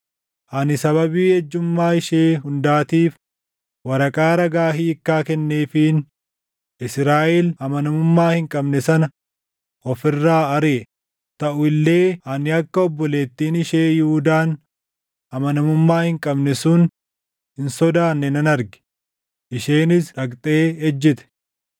Ani sababii ejjummaa ishee hundaatiif waraqaa ragaa hiikkaa kenneefiin Israaʼel amanamummaa hin qabne sana of irraa ariʼe; taʼu illee ani akka obboleettiin ishee Yihuudaan amanamummaa hin qabne sun hin sodaanne nan arge; isheenis dhaqxe ejjite.